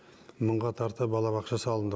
мыңға тарта балабақша салынды